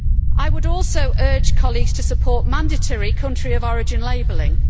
I would also urge colleagues to support mandatory country of origin labelling.